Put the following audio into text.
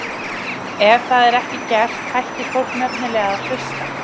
Ef það er ekki gert hættir fólk nefnilega að hlusta.